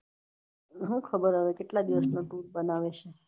શું ખબર હવે કેટલા દિવસ નો tour બનાવે